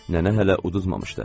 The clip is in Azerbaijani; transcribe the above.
Nənə hələ uduzmamışdı.